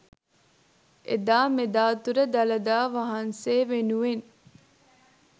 එදා මෙදා තුර දළදා වහන්සේ වෙනුවෙන්